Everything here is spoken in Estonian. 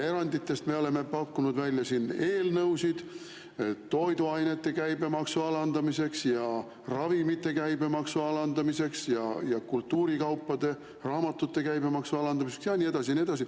Eranditest me oleme pakkunud välja eelnõusid toiduainete käibemaksu alandamiseks ja ravimite käibemaksu alandamiseks, kultuurikaupade ja raamatute käibemaksu alandamiseks ja nii edasi.